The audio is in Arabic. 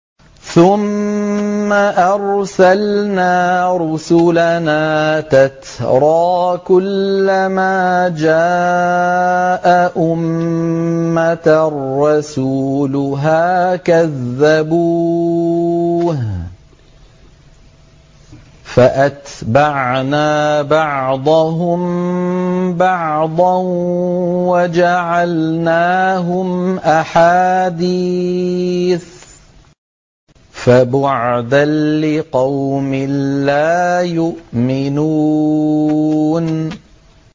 ثُمَّ أَرْسَلْنَا رُسُلَنَا تَتْرَىٰ ۖ كُلَّ مَا جَاءَ أُمَّةً رَّسُولُهَا كَذَّبُوهُ ۚ فَأَتْبَعْنَا بَعْضَهُم بَعْضًا وَجَعَلْنَاهُمْ أَحَادِيثَ ۚ فَبُعْدًا لِّقَوْمٍ لَّا يُؤْمِنُونَ